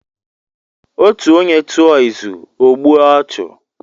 Otu onye tụọ izu, ọ gbue ọchụ.